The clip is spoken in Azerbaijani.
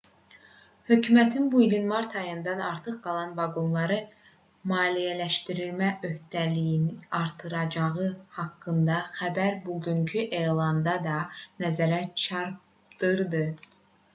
hökumətin bu ilin mart ayında artıq qalan vaqonları maliyyələşdirmə öhdəliyini artıracağı haqqında xəbər bugünkü elanda da nəzərə çarpdırdı